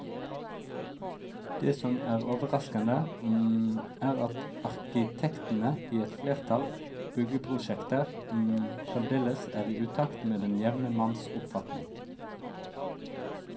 Det som er overraskende, er at arkitektene i et flertall byggeprosjekter fremdeles er i utakt med den jevne manns oppfatning.